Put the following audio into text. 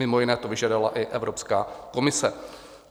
Mimo jiné to vyžadovala i Evropská komise.